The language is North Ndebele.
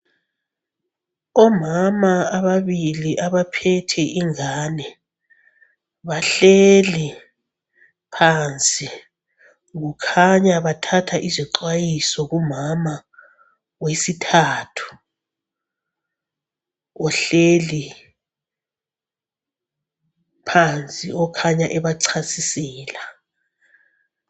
Omama ababili abaphethe ingane bahleli phansi, kukhanya bathatha izixwayiso kumama wesithathu ohleli phansi, okhanya ebachasisela.